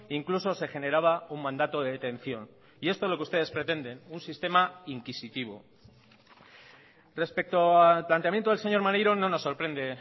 incluso se generaba un mandato de detención y esto es lo que ustedes pretenden un sistema inquisitivo respecto al planteamiento del señor maneiro no nos sorprende